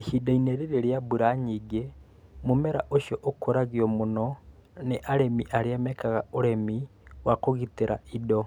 Ihinda-ini ri͂ri͂ ri͂a mbura nyingi͂, mu͂mera ũcio ũkuragio mũno ni͂ ari͂mi arĩa mekaga ũri͂mi wa kũgi͂ti͂ra indo.